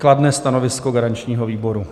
Kladné stanovisko garančního výboru.